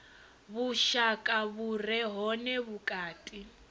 vhushaka vhu re hone vhukati